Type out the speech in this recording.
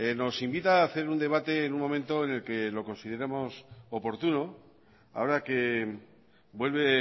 nos invita a hacer un debate en un momento en el que lo consideremos oportuno ahora que vuelve